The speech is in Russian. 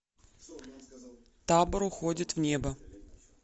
табор уходит в небо